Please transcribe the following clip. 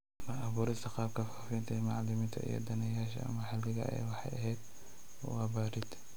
La-abuurista qaabka faafinta ee macalimiinta iyo daneeyayaasha maxalliga ah waxay ahayd wax barid